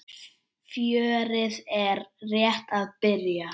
Fjörið er rétt að byrja!